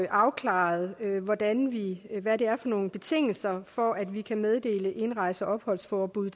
afklaret hvad det er for nogle betingelser der for at vi kan meddele indrejse og opholdsforbud i